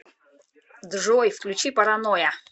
джой включи параноя